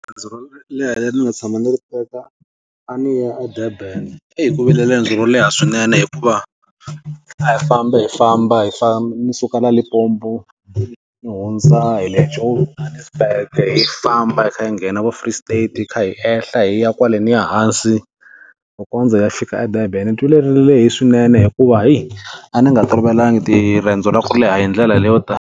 Leha le ri ndzi nga tshama ni ri teka, a ni ya eDurban. Ei ku vi le riendzo ro leha swinene hikuva, a hi famba hi famba hi ndzi suka la Limpopo, ni hundza hi le Johannesburg hi fambe hi kha hi nghena vo Free State, hi ehla hi ya kwaleniya hansi, ku kondza hi ya fika eDurban. Ndzi twile ri lehile swinene hikuva heyi, a ndzi nga tolovelanga ti riendzo ra ku leha hi ndlela leyo ta.